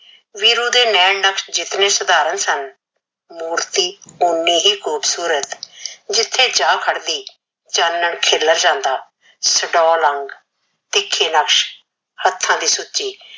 ਵੀਰੂ ਦੇ ਨੈਣ ਨਕਸ਼ ਜਿਤਨੇ ਸਾਧਾਰਨ ਸਨ, ਮੂਰਤੀ ਉਨੀ ਹੀ ਖੂਬਸੂਰਤ। ਜਿਥੇ ਜਾ ਖੜਦੀ ਚਾਨਣ ਖਿਲਰ ਜਾਂਦਾ। ਸਡੋਲ ਅੰਗ, ਤਿੱਖੇ ਨਕਸ਼, ਹੱਥਾਂ ਦੇ ਸੁੱਚੇ